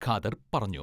ഖാദർ പറഞ്ഞു.